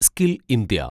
skill India